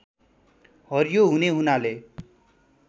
हरियो हुने हुनाले